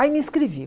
Aí me inscrevi.